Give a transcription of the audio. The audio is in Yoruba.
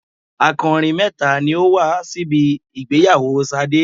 Akọrin mẹ́ta ni ó wá síbi ìgbéyàwó Ṣadé.